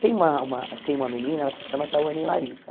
Tem uma uma tem uma menina, ela se chama Tawane Larissa.